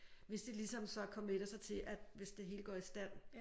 Hvis de ligesom så committer sig til at hvis det hele går i stand